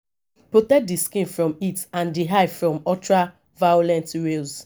protect di skin from heat and di eye from ultra violet rays